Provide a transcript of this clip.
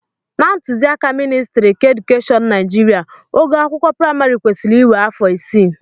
Na ntụziaka ministrị keedukeshọn Naijiria, ogo akwụkwọ praịmarị kwesịrị iwe afọ isii